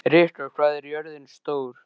Rikka, hvað er jörðin stór?